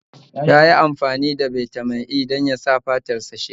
Yayi amfani da Bitamin E dan yasa fatar shi sheƙi